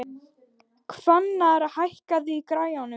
Hvannar, hækkaðu í græjunum.